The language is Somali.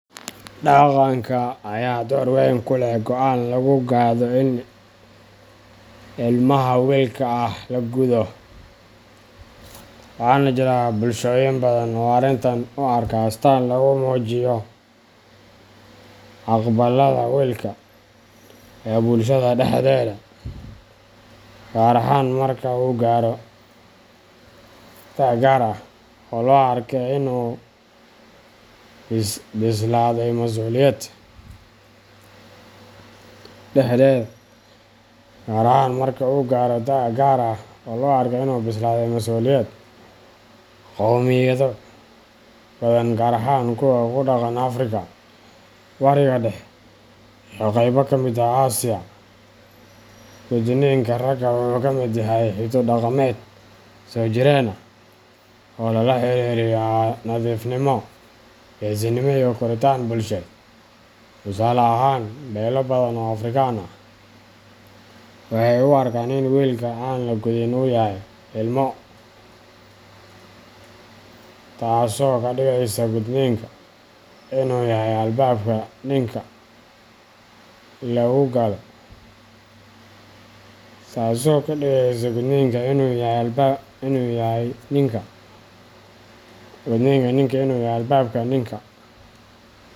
Dhaqanka ayaa door weyn ku leh go'aanka lagu gaadho in ilmaha wiilka ah la guddo, waxaana jira bulshooyin badan oo arrintan u arka astaan lagu muujiyo aqbalaadda wiilka ee bulshada dhexdeeda, gaar ahaan marka uu gaaro da’ gaar ah oo loo arko in uu u bislaaday masuuliyad. Qowmiyado badan, gaar ahaan kuwa ku dhaqan Afrika, Bariga Dhexe, iyo qaybo ka mid ah Aasiya, gudniinka ragga wuxuu ka mid yahay hiddo dhaqameed soo jireen ah oo lala xiriiriyo nadiifnimo, geesinimo, iyo koritaan bulsheed. Tusaale ahaan, beelo badan oo Afrikaan ah waxay u arkaan in wiilka aan la gudin uu yahay ilmo , taasoo ka dhigeysa gudniinku in uu yahay albaabka ninka.